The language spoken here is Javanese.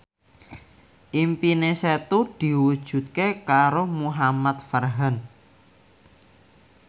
impine Setu diwujudke karo Muhamad Farhan